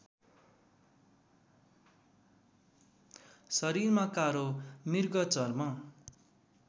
शरीरमा कालो मृगचर्म